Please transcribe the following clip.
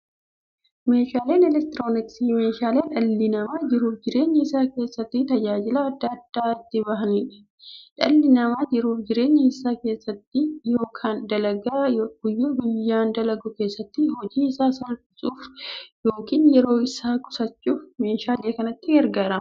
Meeshaaleen elektirooniksii meeshaalee dhalli namaa jiruuf jireenya isaa keessatti, tajaajila adda addaa itti bahuudha. Dhalli namaa jiruuf jireenya isaa keessatti yookiin dalagaa guyyaa guyyaan dalagu keessatti, hojii isaa salphissuuf yookiin yeroo isaa qusachuuf meeshaalee kanatti gargaarama.